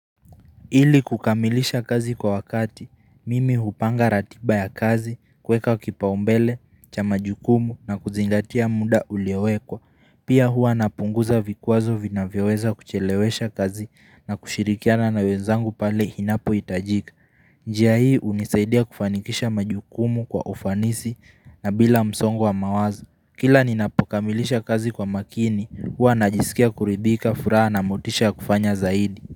Ili kukamilisha kazi kwa wakati, mimi hupanga ratiba ya kazi, kweka kipaumbele, cha majukumu na kuzingatia muda uliowekwa. Pia hua napunguza vikwazo vinavyoweza kuchelewesha kazi na kushirikiana na wenzangu pale inapo hitajika. Njia hii hunisaidia kufanikisha majukumu kwa ufanisi na bila msongo wa mawazo. Kila ninapokamilisha kazi kwa makini, hua najisikia kuribika furaha na motisha kufanya zaidi.